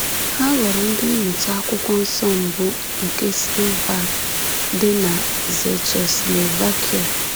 Ha ghọrọ ndị mmụta Akwụkwọ Nsọ mbụ nke Slovak dị na Czechoslovakia.